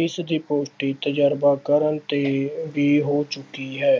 ਇਸ ਦੀ ਪੂਰਤੀ ਤਜ਼ਰਬਾ ਕਰਨ ਤੇ ਵੀ ਹੋ ਚੁੱਕੀ ਹੈ।